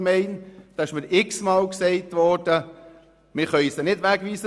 Es wurde mir etliche Male gesagt, es sei nicht möglich, diese wegzuweisen.